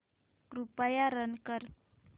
कृपया रन कर